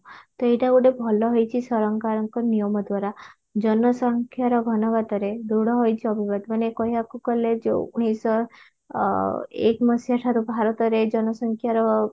ତ ଏଇଟା ଗୋଟେ ଭଲ ହେଇଛି ସରକାରଙ୍କ ନିୟମ ଦ୍ଵାରା ଜନସଂଖ୍ୟାର ଘନ ଘାତରେ ଦୃଢ ହୋଇଛି ଅଭିବାତ ମାନେ କହିବାକୁ ଗଲେ ଯଉ ଉଣେଇଶ ଶହ ଅ ଏକ ମସିହା ଠାରୁ ଭାରତରେ ଜନସଂଖ୍ୟାର